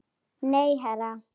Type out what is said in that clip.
Nei, herra